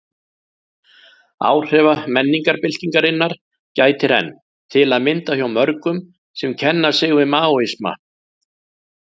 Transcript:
Áhrifa menningarbyltingarinnar gætir enn, til að mynda hjá mörgum sem kenna sig við Maóisma.